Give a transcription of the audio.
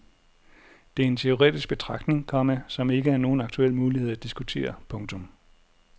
Det er en teoretisk betragtning, komma som ikke er nogen aktuel mulighed at diskutere. punktum